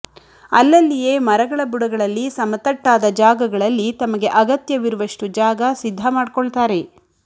ಅಲ್ಲಲ್ಲಿಯೇ ಮರಗಳ ಬುಡಗಳಲ್ಲಿ ಸಮತಟ್ಟಾದ ಜಾಗಗಳಲ್ಲಿ ತಮಗೆ ಅಗತ್ಯವಿರುವಷ್ಟು ಜಾಗ ಸಿದ್ಧ ಮಾಡ್ಕೊಳ್ತಾರೆ